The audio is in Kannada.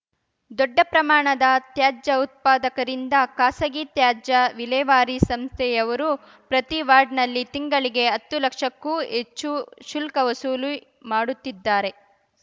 ದೊಡ್ಡ ಪ್ರಮಾಣದ ತ್ಯಾಜ್ಯ ಉತ್ಪಾದಕರಿಂದ ಖಾಸಗಿ ತ್ಯಾಜ್ಯ ವಿಲೇವಾರಿ ಸಂಸ್ಥೆಯವರು ಪ್ರತಿ ವಾರ್ಡ್‌ನಲ್ಲಿ ತಿಂಗಳಿಗೆ ಹತ್ತು ಲಕ್ಷಕ್ಕೂ ಹೆಚ್ಚು ಶುಲ್ಕ ವಸೂಲಿ ಮಾಡುತ್ತಿದ್ದಾರೆ